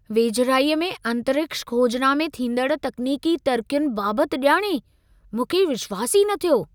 वेझिराईअ में अंतरिक्ष खोजना में थींदड़ तक्नीकी तरक़ियुनि बाबति ॼाणे मूंखे विश्वासु ई न थियो।